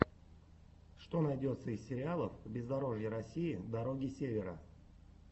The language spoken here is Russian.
что найдется из сериалов бездорожья россии дороги севера